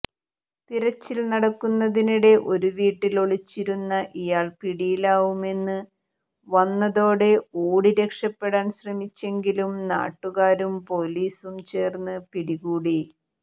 തിരച്ചിൽ നടക്കുന്നതിനിടെ ഒരു വീട്ടിൽ ഒളിച്ചിരുന്ന ഇയാൾ പിടിയിലാവുമെന്ന് വന്നതോടെ ഓടി രക്ഷപ്പെടാൻ ശ്രമിച്ചെങ്കിലും നാട്ടുകാരും പൊലീസും ചേർന്ന് പിടികൂടി